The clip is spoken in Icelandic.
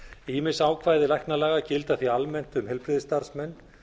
ýmis ákvæði læknalaga gilda því almennt um heilbrigðisstarfsmenn